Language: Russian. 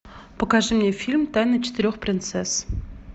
покажи мне фильм тайны четырех принцесс